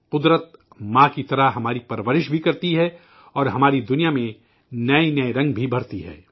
قدرت، ماں کی طرح ہماری پرورش بھی کرتی ہے اور ہماری دنیا میں نئے نئے رنگ بھی بھر تی ہے